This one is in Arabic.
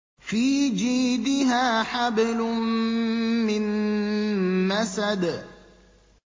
فِي جِيدِهَا حَبْلٌ مِّن مَّسَدٍ